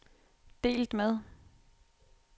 delt med